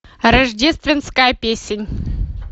рождественская песнь